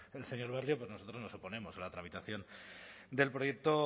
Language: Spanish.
el señor barrio nosotros nos oponemos a la tramitación del proyecto